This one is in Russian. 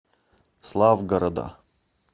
славгорода